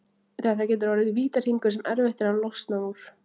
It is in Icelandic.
Þetta getur orðið vítahringur sem erfitt er að losna úr.